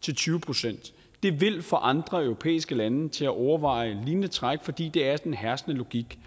til tyve procent det vil få andre europæiske lande til at overveje et lignende træk fordi det er den herskende logik